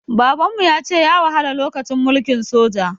Baban mu ya ce ya wahala lokacin mulkin soja.